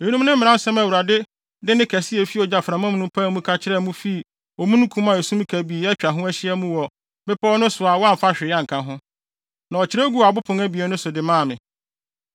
Eyinom ne mmaransɛm a Awurade de nne kɛse a efi ogyaframa no mu pae mu ka kyerɛɛ mo fii omununkum a esum kabii atwa ho ahyia mu wɔ bepɔw no so a wamfa hwee anka ho. Na ɔkyerɛw guu abo pon abien so de maa me.